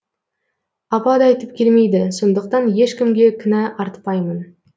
апат айтып келмейді сондықтан ешкімге кінә артпаймын